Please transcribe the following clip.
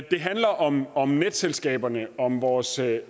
det handler om om netselskaberne om vores